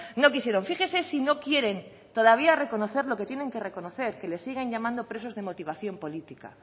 no quisieron fíjese si no quieren todavía reconocer lo que tienen que reconocer que le siguen llamando presos de motivación política